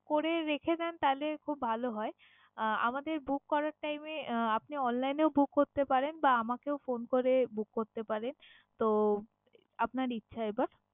করে রেখে দেন তাহলে খুব ভালো হয়। আহ আমাদের book করার time এ আহ আপনি online এও book করতে পারেন বা আমাকেও phone করে book করতে পারেন। তো আপনার ইচ্ছা এবার।